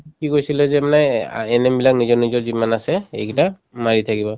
কি কৈছিলে যে মানে অ NM বিলাক নিজৰ নিজৰ যিমান আছে এই কেইটা মাৰি থাকিবা